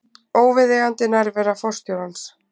Óviðeigandi nærvera forstjórans